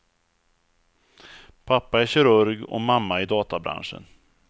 Pappa är kirurg och mamma i databranschen.